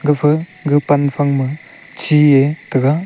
gapha ga pan phang ma chie taga.